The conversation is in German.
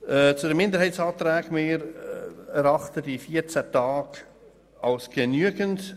Zu den Minderheitsanträgen: Wir erachten diese 14 Tage als ausreichend.